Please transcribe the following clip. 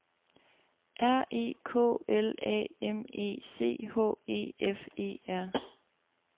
R E K L A M E C H E F E R